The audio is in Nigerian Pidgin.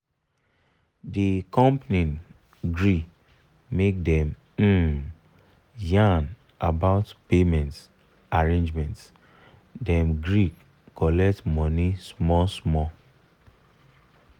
the company gree make dem um yan about payment arrangement dem gree colet money small small